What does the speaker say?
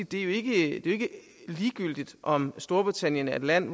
det jo ikke er ligegyldigt om storbritannien er et land